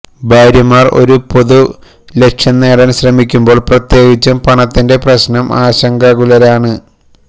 ഭാര്യമാർ ഒരു പൊതു ലക്ഷ്യം നേടാൻ ശ്രമിക്കുമ്പോൾ പ്രത്യേകിച്ചും പണത്തിന്റെ പ്രശ്നം ആശങ്കാകുലരാണ്